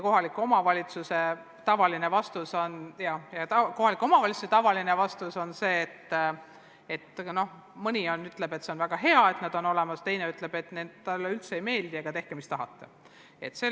Kohaliku omavalitsuse tavalised vastused on kahetised: mõni ütleb, et see on väga hea, et erakoolid on olemas, teine ütleb, et neile üldse ei meeldi, aga tehke, mis tahate.